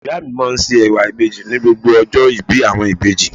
Ìyá mi máa ń se ẹwà ìbejì ní gbogbo ọjọ́ ìbí àwọn ìbejì.